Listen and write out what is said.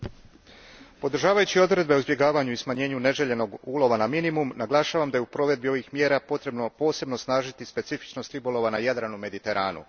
Gospodine predsjedniče, podržavajući odredbe o izbjegavanju i smanjenju neželjenog ulova na minimum, naglašavam da je u provedbi ovih mjera potrebno posebno osnažiti specifičnost ribolova na Jadranu i Mediteranu.